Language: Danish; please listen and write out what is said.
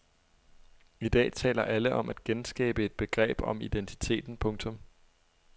I dag taler alle om at genskabe et begreb om identiteten. punktum